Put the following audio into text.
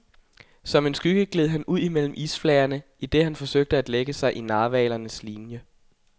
Som en skygge gled han ud mellem isflagerne, idet han forsøgte at lægge sig i narhvalernes linie.